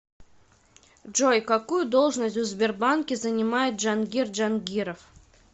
джой какую должность в сбербанке занимает джангир джангиров